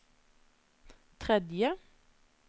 tredje